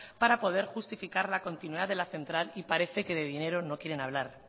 para poder justificar la continuidad de la central y parece que de dinero no quieren hablar